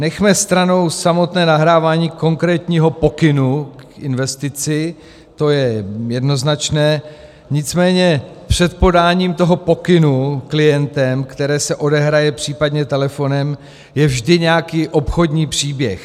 Nechme stranou samotné nahrávání konkrétního pokynu k investici, to je jednoznačné, nicméně před podáním toho pokynu klientem, které se odehraje případně telefonem, je vždy nějaký obchodní příběh.